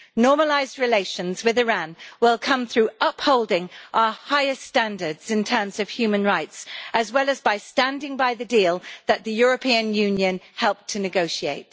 Normalised relations with Iran will come through upholding our highest standards in terms of human rights, as well as by standing by the deal that the European Union helped to negotiate.